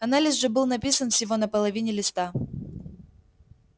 анализ же был написан всего на половине листа